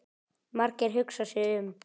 Margeir hugsar sig um.